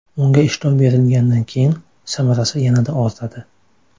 Unga ishlov berilgandan keyin samarasi yanada ortadi.